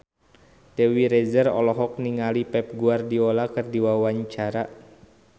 Dewi Rezer olohok ningali Pep Guardiola keur diwawancara